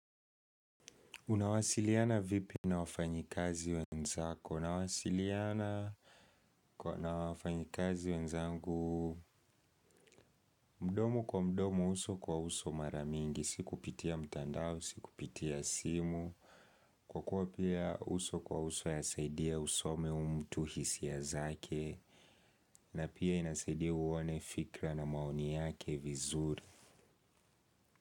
Unawasiliana vipi na wafanyikazi wenzako? Unawasiliana na wafanyikazi wenzangu. Mdomo kwa mdomo uso kwa uso mara mingi. Sikupitia mtandao, sikupitia simu. Kwa kuwa pia uso kwa uso yasaidia usome uyu mtu hisia zake. Na pia inasaidia uone fikra na maoni yake vizuri.